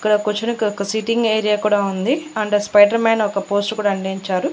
ఇక్కడ కుర్చోనికి ఒక సీటింగ్ ఏరియా కూడా ఉంది అండ్ స్పైడర్ మాన్ ఒక పోస్టర్ కూడా అంటించారు.